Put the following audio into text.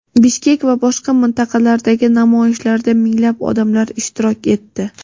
Bishkek va boshqa mintaqalardagi namoyishlarda minglab odamlar ishtirok etdi.